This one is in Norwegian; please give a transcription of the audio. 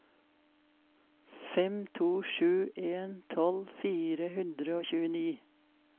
fem to sju en tolv fire hundre og tjueni